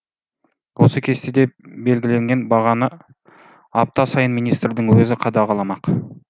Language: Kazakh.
осы кестеде белгіленген бағаны апта сайын министрдің өзі қадағаламақ